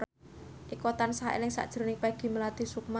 Eko tansah eling sakjroning Peggy Melati Sukma